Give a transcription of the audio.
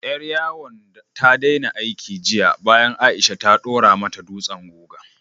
Ƴar yawon ta daina aiki jiya bayan Aisha ta ɗora mata dutsen guga.